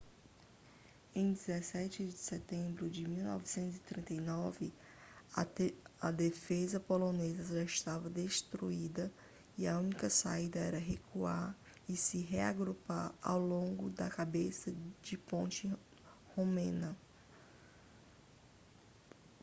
em 17 de setembro de 1939 a defesa polonesa já estava destruída e a única saída era recuar e se reagrupar ao longo da cabeça de ponte romena